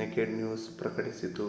naked News ಪ್ರಕಟಿಸಿತು